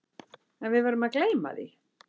En við verðum að gleyma því.